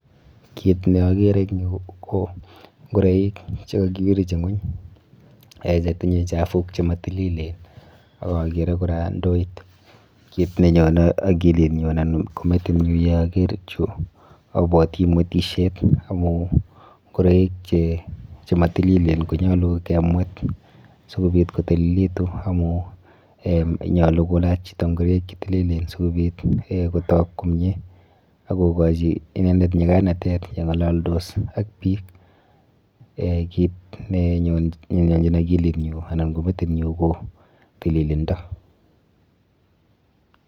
Kiit ne agere eng yu ko ngoroik che kakirich eng ng'ony che tinye chafuk che ma tililen. Akagere kora ndoit. Kiit ne nyone akili nyun ana ko metit nyun ye ager chu, abwoti mwetisiet amun ngoroik che matililen ko nyolu ke mwet si kobit kotililitu amu nyolu kulach chito ngoroik che tililen sikobit ko togu komie akukochi inendet nyikanantet ya ng'alaldos ak biik. Kiit ne nyonchin akili nyun anan ko metit nyun ko tiililindo.